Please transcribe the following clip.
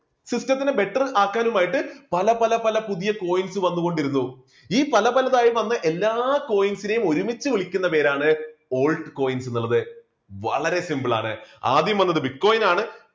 system ത്തിനെ better ആക്കാനും ആയിട്ട് പല പല പല പുതിയ coins വന്നുകൊണ്ടിരുന്നു. ഈ പല പലതായി വന്ന എല്ലാ coins നെയും ഒരുമിച്ച് വിളിക്കുന്ന പേരാണ് altcoins എന്നുള്ളത് വളരെ simple ആണ് ആദ്യം വന്നത് bitcoin ആണ്